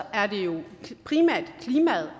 er det jo primært klimaet